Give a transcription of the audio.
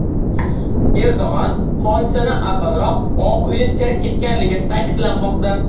Erdo‘g‘on hodisadan avvalroq Oq uyni tark etganligi ta’kidlanmoqda.